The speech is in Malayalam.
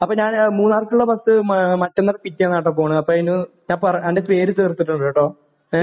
അപ്പോൾ ഞാൻ മൂന്നാറിലേക്കുള്ള ബസ് മറ്റന്നാൾ പിക്ക് ചെയ്യാനാണെട്ടോ പോകുന്നത്. അപ്പോൾ അതിന്...നിന്റെ പേര് കൊടുത്തിട്ടുണ്ടെട്ടോ. ഏഹ്?